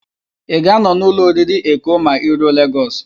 Ị ga-anọ n'ụlọ oriri Eko ma I ruo Legọs?